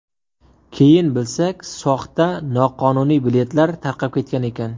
Keyin bilsak, soxta, noqonuniy biletlar tarqab ketgan ekan.